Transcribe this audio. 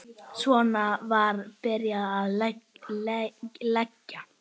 Svo var byrjað að leggja.